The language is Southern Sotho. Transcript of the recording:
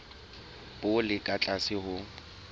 bo le ka tlase ho